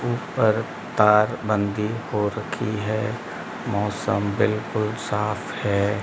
ऊपर तार बंदी हो रखी है मौसम बिल्कुल साफ है।